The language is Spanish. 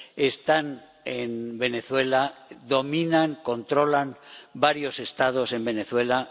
Están en Venezuela, dominan, controlan varios Estados en Venezuela.